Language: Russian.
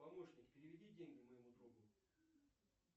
помощник переведи деньги моему другу